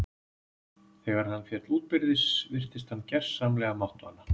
Þegar hann féll útbyrðis virtist hann gersamlega máttvana.